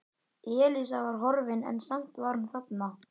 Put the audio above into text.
Elísa var horfin en samt var hún þarna.